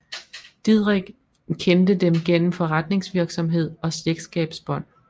Didrich kendte dem gennem forretningsvirksomhed og slægtskabsbånd